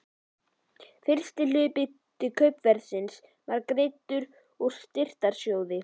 Fyrsti hluti kaupverðsins var greiddur úr styrktarsjóði